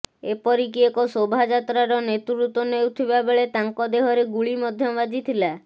ଏପରିକି ଏକ ଶୋଭାଯାତ୍ରାର ନେତୃତ୍ୱ ନେଉଥିବା ବେଳେ ତାଙ୍କ ଦେହରେ ଗୁଳି ମଧ୍ୟ ବାଜିଥିଲା